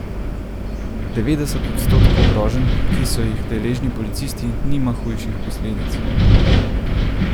Devetdeset odstotkov groženj, ki so jih deležni policisti, nima hujših posledic.